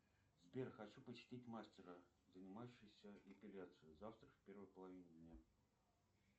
сбер хочу посетить мастера занимающегося эпиляцией завтра в первой половине дня